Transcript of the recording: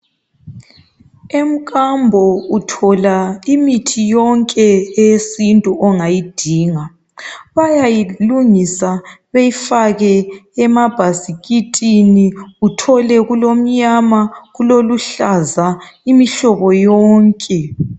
Emkambo uthola imithi yonke eyesintu ongayidinga bayayilungisa bayifake emabhasikitini uthole kulomnyama kuloluhlaza imihlobo yonke